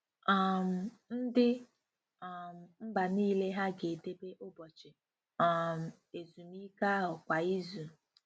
um Ndị um mba niile hà ga-edebe ụbọchị um ezumike ahụ kwa izu?